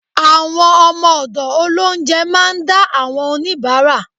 Àwọn ọmọ ọ̀dọ̀ Ọlọhunjẹ máa ń dá àwọn oníbárà